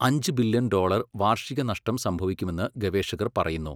അഞ്ച് billion dollar വാർഷിക നഷ്ടം സംഭവിക്കുമെന്ന് ഗവേഷകർ പറയുന്നു.